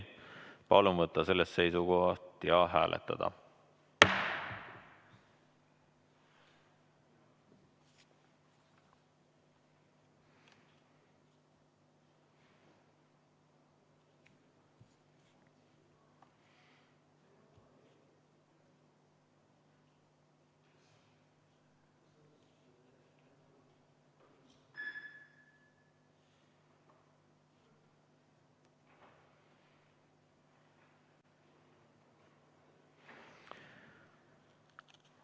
Palun võtta seisukoht ja hääletada!